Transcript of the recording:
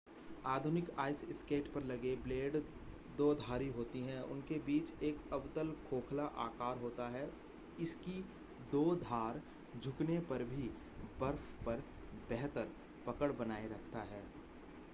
आधुनिक ice skate पर लगे ब्लेड दोधारी होती है और उनके बीच एक अवतल खोखला आकार होता है इसकी दो धार झुकने पर भी बर्फ पर बेहतर पकड़ बनाए रखता है